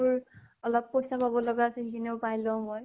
মোৰ অলপ পইচা পাব লগা আছে। সেইখিনিও পাই লওঁ মই।